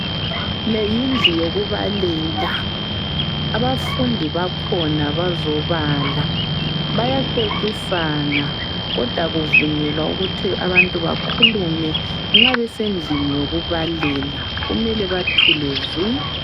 Leyindlu yokubalela abafundi bakhona bazobala bayaxoxisa kodwa akuvunyelwa ukuthi bakhulume nxa besendlini yokubalela kumele bathule zwi